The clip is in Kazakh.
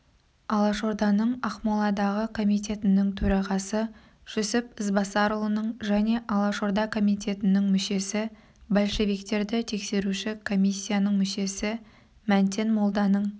алашорданың ақмоладағы комитетінің төрағасы жүсіп ізбасарұлының және алашорда комитетінің мүшесі большевиктерді тексеруші комиссияның мүшесі мәнтен молданың